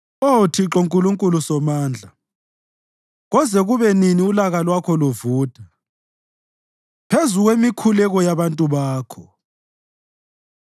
Oh Thixo Nkulunkulu Somandla, koze kube nini ulaka lwakho luvutha phezu kwemikhuleko yabantu bakho?